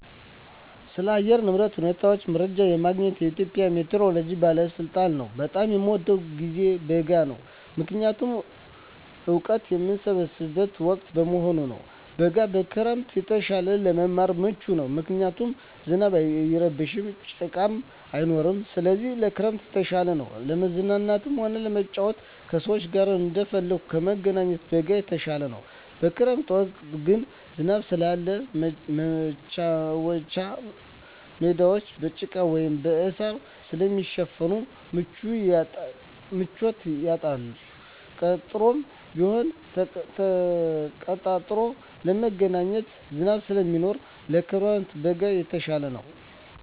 ስለ አየር ንብረት ሁኔታ መረጃ የማገኘዉ ከኢትዮጵያ ሜትሮሎጂ ባለስልጣን ነዉ። በጣም የምወደዉ ጊዜ በጋ ነዉ ምክንያቱም እወቀት የምሰበስብበት ወቅት በመሆኑ ነዉ። በጋ ከክረምት የተሻለ ለመማር ምቹ ነዉ ምክንያቱም ዝናብ አይረብሽም ጭቃም አይኖርም ስለዚህ ከክረምት የተሻለ ነዉ። ለመዝናናትም ሆነ ለመጫወት ከሰዉ ጋር እንደፈለጉ ለመገናኘት በጋ የተሻለ ነዉ። በክረምት ወቅት ግን ዝናብ ስላለ መቻወቻ ሜዳወች በጭቃ ወይም በእሳር ስለሚሸፈን ምቹነቱን ያጣል ቀጠሮም ቢሆን ተቀጣጥሮ ለመገናኘት ዝናብ ስለሚሆን ከክረምት በጋ የተሻለ ነዉ።